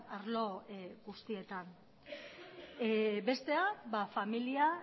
arlo guztietan bestea familia